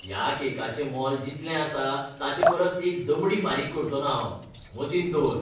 ह्या केकाचें मोल जितलें आसा ताचे परस एक दमडी फारीक करचो ना हांव. मतींत दवर!